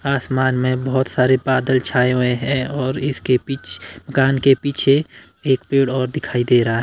आसमान में बहोत सारे बादल छाए हुएं हैं और इसके पीछ कान के पीछे एक पेड़ और दिखाई दे रहा--